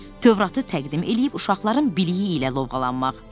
Tövratı təqdim eləyib uşaqların biliyi ilə lovğalanmaq.